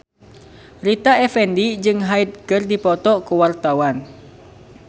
Rita Effendy jeung Hyde keur dipoto ku wartawan